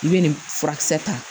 I bɛ nin furakisɛ ta